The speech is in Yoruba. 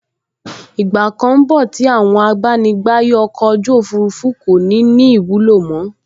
Ìgbà kan n bọ̀ tí àwọn abánigbàyè ọkọ̀ ojú òfurufú kò ní ní ìwúlò mọ́